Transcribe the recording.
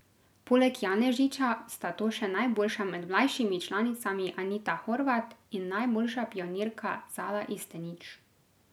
Poleg Janežiča sta to še najboljša med mlajšimi članicami Anita Horvat in najboljša pionirka Zala Istenič.